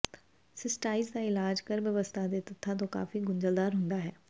cystitis ਦਾ ਇਲਾਜ ਗਰਭ ਅਵਸਥਾ ਦੇ ਤੱਥਾਂ ਤੋਂ ਕਾਫੀ ਗੁੰਝਲਦਾਰ ਹੁੰਦਾ ਹੈ